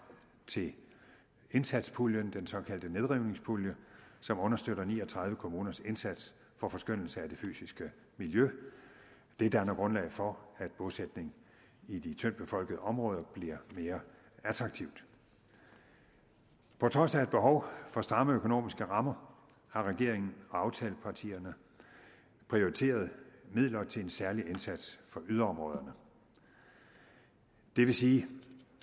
til indsatspuljen den såkaldte nedrivningspulje som understøtter ni og tredive kommuners indsats for forskønnelse af det fysiske miljø det danner grundlag for at bosætning i de tyndtbefolkede områder bliver mere attraktivt på trods af et behov for stramme økonomiske rammer har regeringen og aftalepartierne prioriteret midler til en særlig indsats for yderområderne det vil sige